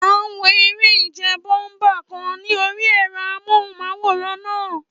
À ń wo eré ìje bọ́únpà kan ní orí ẹ̀rọ amóhùnmáwòrán náà